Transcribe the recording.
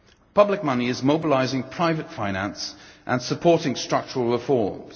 Public money is mobilising private finance, and supporting structural reforms.